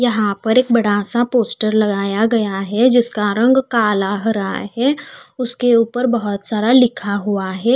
यहाँ पर एक बडासा पोस्टर लगाया गया है जिसका रंग काला हरा है उसके ऊपर बोहोत सारा लिखा हुआ है।